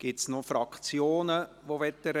Gibt es noch Fraktionen, die sprechen möchten?